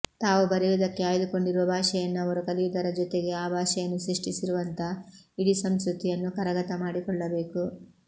ತಾವು ಬರೆಯುವುದಕ್ಕೆ ಆಯ್ದುಕೊಂಡಿರುವ ಭಾಷೆಯನ್ನು ಅವರು ಕಲಿಯುವುದರ ಜೊತೆಗೆ ಆ ಭಾಷೆಯನ್ನು ಸೃಷ್ಟಿಸಿರುವಂಥ ಇಡೀ ಸಂಸ್ಕೃತಿಯನ್ನು ಕರಗತ ಮಾಡಿಕೊಳ್ಳಬೇಕು